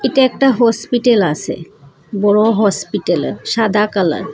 এটা একটা হসপিটাল আসে বড় হসপিটালে সাদা কালার ।